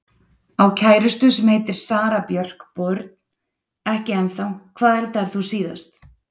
Á kærustu sem heitir Sara Björk Börn: Ekki ennþá Hvað eldaðir þú síðast?